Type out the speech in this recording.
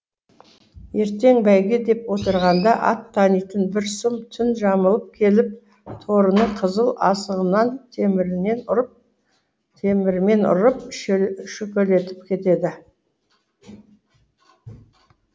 ертең бәйге деп отырғанда ат танитын бір сұм түн жамылып келіп торының қызыл асығынан темірмен ұрып шөкелетіп кетеді